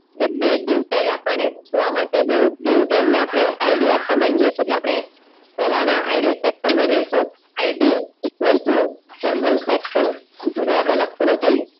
એટલે બે dive tag આપણ ને જોવા મળશે એ બેઓ dive tag ને આપણે ID આપવા માંગીએ છે આપડે પેલાના ID section માં જઈસુ ID equal to general section લખતું નથી